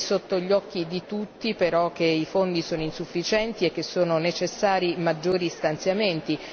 È sotto gli occhi di tutti però che i fondi sono insufficienti e che sono necessari maggiori stanziamenti.